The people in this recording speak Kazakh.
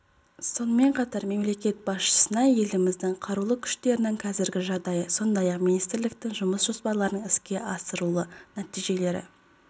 сонымен қатар мемлекет басшысына еліміздің қарулы күштерінің қазіргі жағдайы сондай-ақ министрліктің жұмыс жоспарларының іске асырылу нәтижелері